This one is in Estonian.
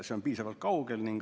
See on piisavalt kaugel.